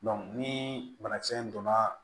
ni banakisɛ in donna